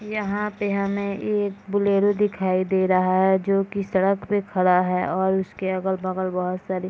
यहाँ पे हमें एक बोलेरो दिखाई दे रहा है जो कि सड़क पे खड़ा है और उसके अगल-बगल बहुत सारे --